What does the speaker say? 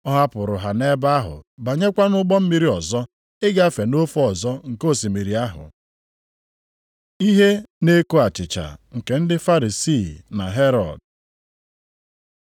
Ọ hapụrụ ha nʼebe ahụ banyekwa nʼụgbọ mmiri ọzọ, ịgafe nʼofe ọzọ nke osimiri ahụ. Ihe na-eko achịcha nke ndị Farisii na Herọd